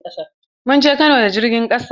Mun je Kano da jirgin ƙasa.